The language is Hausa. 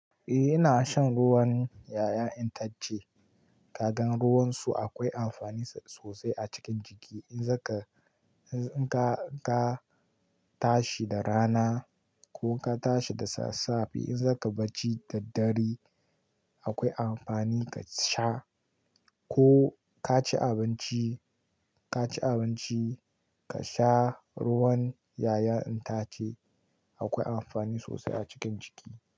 Eh ina shan ruwan ƴaƴan itace. Kagan ruwansu akwai amfani sosai a cikin jiki. In zaka-- in ka, ka tashi da rana ko ka tashi da sassafe, in zaka barci da dare, akwai amfani ka sha ko ka ci abinci, ka ci abinci ka sha ruwan ƴaƴan itace akwai amfani sosai a cikin jiki.